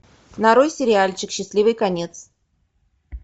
нарой сериальчик счастливый конец